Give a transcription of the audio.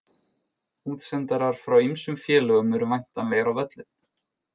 Útsendarar frá ýmsum félögum eru væntanlegir á völlinn.